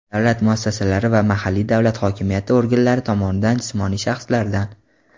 davlat muassasalari va mahalliy davlat hokimiyati organlari tomonidan jismoniy shaxslardan:.